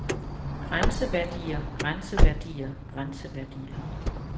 grænseværdier grænseværdier grænseværdier